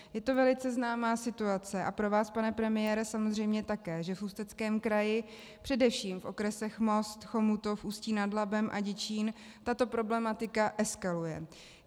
Je to velice známá situace a pro vás, pane premiére, samozřejmě také, že v Ústeckém kraji, především v okresech Most, Chomutov, Ústí nad Labem a Děčín, tato problematika eskaluje.